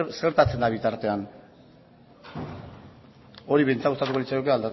zer gertatzen da bitartean hori behintzat gustatuko litzaiguke